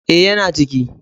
E, yana ciki.